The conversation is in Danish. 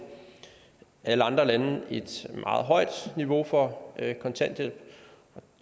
alle andre lande et meget højt niveau for kontanthjælp